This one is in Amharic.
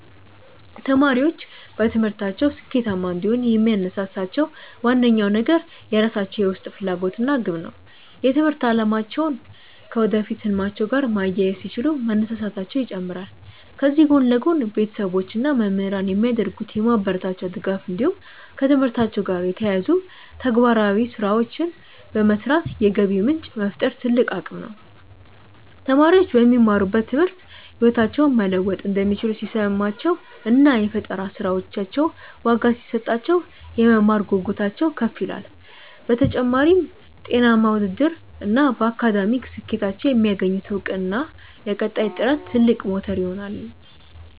ተማሪዎች በትምህርታቸው ስኬታማ እንዲሆኑ የሚያነሳሳቸው ዋነኛው ነገር የራሳቸው የውስጥ ፍላጎት እና ግብ ነው። የትምህርት አላማቸውን ከወደፊት ህልማቸው ጋር ማያያዝ ሲችሉ መነሳሳታቸው ይጨምራል። ከዚህ ጎን ለጎን፣ ቤተሰቦች እና መምህራን የሚያደርጉት የማበረታቻ ድጋፍ እንዲሁም ከትምህርታቸው ጋር የተያያዙ ተግባራዊ ስራዎችን በመስራት የገቢ ምንጭ መፍጠር ትልቅ አቅም ነው። ተማሪዎች በሚማሩት ትምህርት ህይወታቸውን መለወጥ እንደሚችሉ ሲሰማቸው እና የፈጠራ ስራዎቻቸው ዋጋ ሲሰጣቸው፣ የመማር ጉጉታቸው ከፍ ይላል። በተጨማሪም፣ ጤናማ ውድድር እና በአካዳሚክ ስኬታቸው የሚያገኙት እውቅና ለቀጣይ ጥረት ትልቅ ሞተር ይሆናሉ።